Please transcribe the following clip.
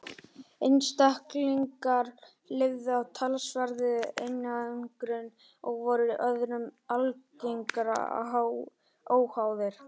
einstaklingarnir lifðu í talsverðri einangrun og voru öðrum algerlega óháðir